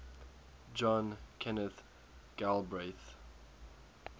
john kenneth galbraith